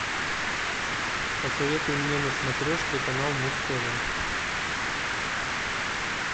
посоветуй мне на смотрешке канал муз тв